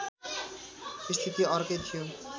स्थिति अर्कै थियो